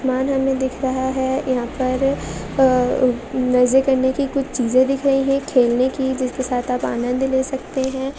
मान हमे दिख रहा है। यहा पर अ अ मज़े करने की कुछ चीज़े दिख रही है। खेलने की जिसके साथ आप आनंद ले सकते है।